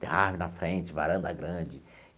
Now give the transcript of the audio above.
Tem árvore na frente, varanda grande.